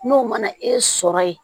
N'o mana e sɔrɔ ye